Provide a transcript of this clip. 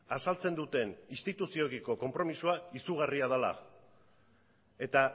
azaltzen duten instituzioekiko konpromisoa izugarria dela eta